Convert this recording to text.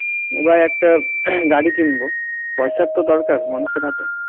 এবার একটা গাড়ি কিনব পয়সার দরকার মানুষের হাতে